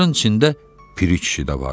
Bunların içində Piri kişi də var idi.